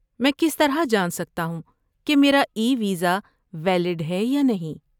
میں کس طرح جان سکتا ہوں کہ میرا ای ویزا ویلڈ ہے یا نہیں؟